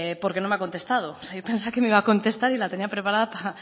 porque no me ha contestado yo pensaba que me iba a contestar y la tenía preparada